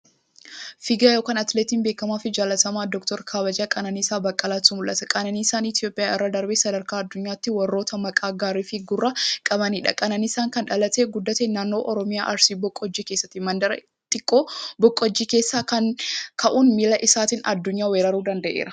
Fiigaa (Atileetii) beekamaafi jaalatamaa Dooktara kabajaa Qananiisaa Baqqalaatu mul'ata. Qananiisaan Itiyoophiyaa irra darbee sadarkaa addunyaattu warroota maqaa gaariifi gurra qabaniidha. Qananiisaan kan dhalatee guddate naannoo Oromiyaa Arsii baqojjii keessatti. Mandara xiqqoo baqojjii keessaa ka'uun miila isaatiin addunyaa weeraruu danda'eera.